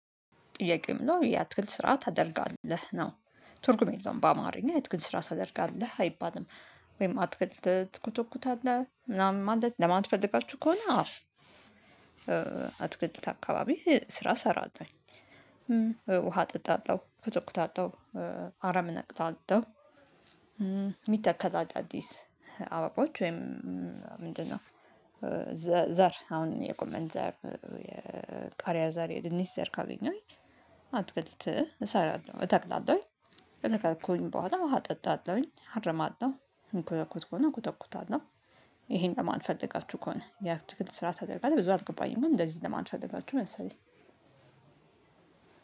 ጥያቄ ምን ነው የአትክልት ስራ ታደርጋለህ ነው ትርጉም የለውም በአማርኛ አትክልት ስራ ታደርጋለህ አይባልም። ወይም አትክልት ትኮተኩታለህ ምናምን ለማለት ፈልጋችሁ ከሆነ አዎ አትክልት አካባቢ ስራ እሰራለሁኝ። ውሃ እጠጣለሁ እኮተኩታለሁ። አረም እነቅላለሁ። የሚተከል አዳዲስ አበባዎች ወይም ምንድነው? ዘር አሁን የጎመን ዘር የቃሪያ ዘር የድንች ዘር ካገኘሁኝ አትክልት እሰራለሁ እተክላለሁ። ከተከልኩኝ በኋላ ውሃ አጠጣለሁኝ አርማለው የምኮተኩት ከሆነ እኮተኩታለሁ። ይሄን ለማን ፈልጋችሁ ከሆነ የአትክልት ስራ ታደርጋለህ ብዙ አልገባኝም። ግን እንደዚህ ለማለት የፈለጋችሁ መሰለኝ።